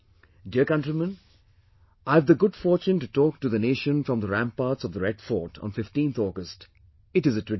Dear countrymen, I have the good fortune to talk to the nation from ramparts of Red Fort on 15thAugust, it is a tradition